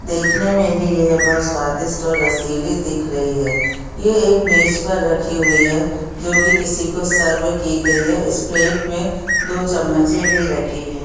देखने में ही यह बहुत स्वादिष्ट और रसीली दिख रही है यह एक मेज पर रखी हुई है जो की किसी को सर्व की गयी है इस प्लेट में दो चम्मचे भी रखी हैं।